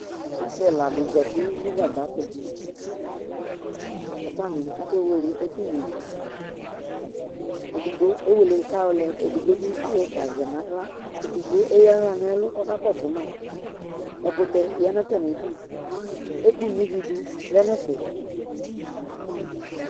Asɩ ɛla dɩ zati nʋ gagba tʋ kʋ atanɩ akewele ɛkʋŋuǝ ivi Edigbo ewele kʋ ayɔlɛ kʋ edigbo bɩ ayɔ ɛfʋa zɛ nʋ aɣla Edigbo eyǝ aɣla nʋ ɛlʋ kʋ ɔkakɔsʋ ma Ɛkʋtɛ ya nʋ atamɩdu Ɛkʋno ivi dʋ lɛ nʋ ɛfɛ